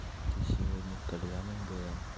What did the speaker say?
ты сегодня в кальянной была